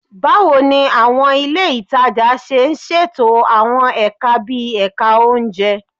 Báwo ni àwọn ilé ìtajà ṣe ń ṣètò àwọn ẹ̀ka bíi ẹ̀ka oúnjẹ